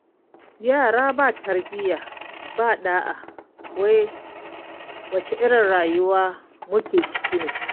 Yara ba tarbiyya ba ɗa'a wai wace irin rayuwa muke ciki ne?